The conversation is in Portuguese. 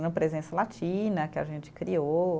presença latina que a gente criou.